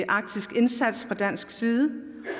arktiske indsats fra dansk side